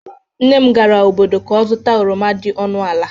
nnem gara obodo ka o zuta oroma di ọnụ ala